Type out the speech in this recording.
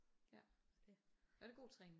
Ja og det god træning